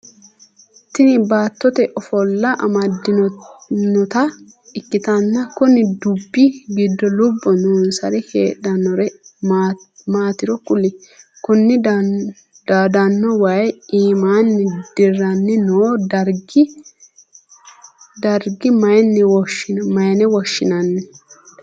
Tinni baattote afola amadantinota ikitanna kunni dubi gido lobo noonsari heedhanore maatiro kuli? Kunni daadano wayi iiminni diranni noo darga mayine woshinnanni?